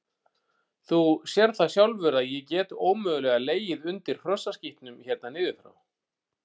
Þú sérð það sjálfur að ég get ómögulega legið undir hrossaskítnum hérna niður frá.